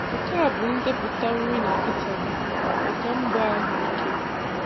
Nke a bụ ndepụta nri na vitamin maka mbọ ahụike: